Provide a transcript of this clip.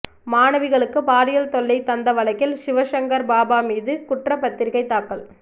மாணவிகளுக்கு பாலியல் தொல்லை தந்த வழக்கில் சிவசங்கர் பாபா மீது குற்றப்பத்திரிகை தாக்கல்